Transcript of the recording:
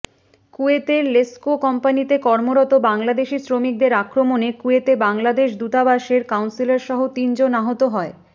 কুয়েতের লেসকো কোম্পানিতে কর্মরত বাংলাদেশি শ্রমিকদের আক্রমণে কুয়েতে বাংলাদেশ দূতাবাসের কাউন্সেলরসহ তিনজন আহত হয়